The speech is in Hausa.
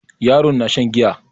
Yaron na shan giya.